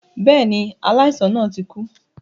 Bẹ́ẹ̀ni, aláìsàn náà ti kú